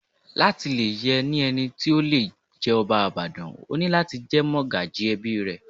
Láti lè yẹ ní ẹni tí ó le jẹ́ ọba Ìbàdàn, o ní láti jẹ́ mọ́gàjí ẹbí ẹ.